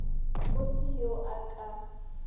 go se yo a ka